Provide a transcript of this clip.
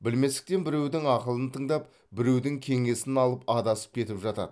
білместіктен біреудің ақылын тыңдап біреудің кеңесін алып адасып кетіп жатады